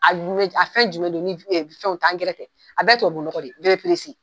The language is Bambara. fɛn jumɛn be yen ni fɛnw tɛ tɛ a bɛ ye tubabu nɔgɔ de ye